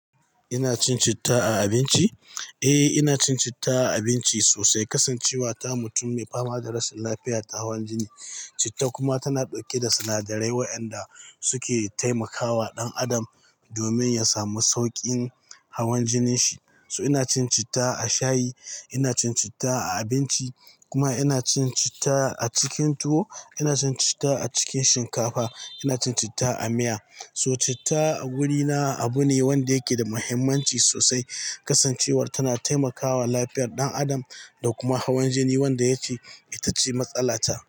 Ina cin citta a abinci? Eh, inacin citta a abinci sosai. Kasancewata mutum mai fama da rashin lafiya ta hawan jini. Citta kuma tana ɗauke da sinadarai waɗanda suke taimakawa ɗan adam domin yasamu sauƙin hawan jininshi. So inacin citta a shayi, incin citta a abinci, kuma inacin citta acikin tuwo. Ina cin citta a cikin shinkafa, ina cin citta a miya. So citta a gurina abune wanda yake da muhimmanci sosai. Kasancewar tana taimakawa lafiyar ɗan adam dakuma hawan jini wanda yake itace matsalata.